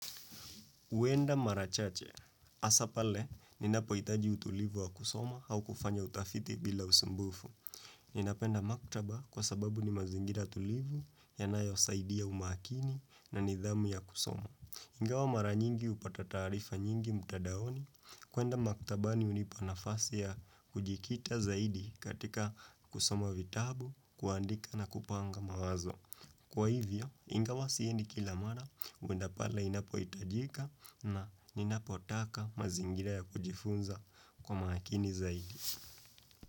Huenda mara chache. Hasa pale, ninapohitaji utulivu wa kusoma au kufanya utafiti bila usumbufu. Ninapenda maktaba kwa sababu ni mazingira tulivu, yanayo saidi umakini na nidhamu ya kusoma. Ingawa mara nyingi hupata tarifa nyingi mtadaoni. Kuenda maktaba ni hunipa nafasi ya kujikita zaidi katika kusoma vitabu, kuandika na kupanga mawazo. Kwa hivyo, ingawa siendi kila mara, kuenda pale inapohitajika na inapotaka mazingira ya kujifunza kwa makini zaidi.